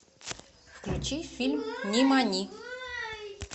включи фильм нимани